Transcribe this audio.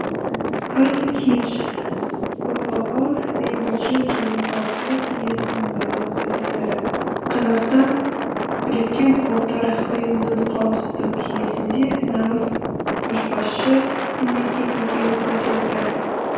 анник хинш бұұ бейбітшілік және қауіпсіздік кеңсесінің байланыс офицері қазақстан біріккен ұлттар ұйымының қауіпсіздік кеңесінде нағыз көшбасшы мемлекет екенін көрсетті